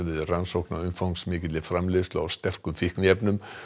við rannsókn á umfangsmikilli framleiðslu á sterkum fíkniefnum